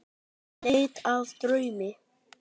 Í leit að draumi.